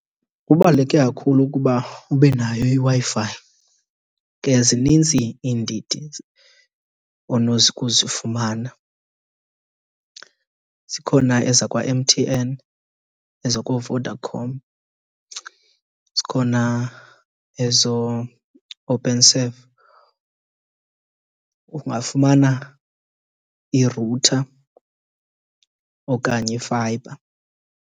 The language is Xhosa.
Kubaluleke kakhulu ukuba ube nayo iWi-Fi. Zinintsi iindidi onokuzifumana. Zikhona ezakwaM_T_N, ezakooVodacom, zikhona ezooOpenserve. Ungafumana i-router okanye i-fibre.